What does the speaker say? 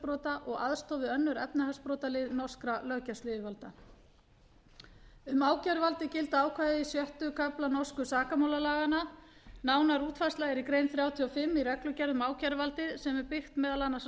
umhverfisbrota og aðstoð við önnur efnahagsbrotalið norskra löggæsluyfirvalda um ákæruvaldið gilda ákvæði sjötta kafla norsku sakamálalaganna nánari útfærsla er í grein þrjátíu og fimm í reglugerð um ákæruvaldið sem byggð er meðal annars á